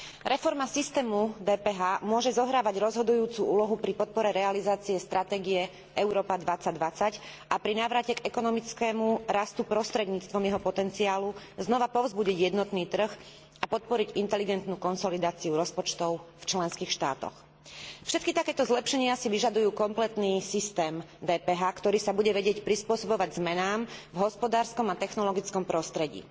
Reforma systému DPH môže zohrávať rozhodujúcu úlohu pri podpore realizácie stratégie Európa 2020 a pri návrate k ekonomickému rastu prostredníctvom jeho potenciálu znova povzbudiť jednotný trh a podporiť inteligentnú konsolidáciu rozpočtov v členských štátoch. Všetky takéto zlepšenia si vyžadujú kompletný systém DPH, ktorý sa bude vedieť prispôsobovať zmenám v hospodárskom a technologickom prostredí.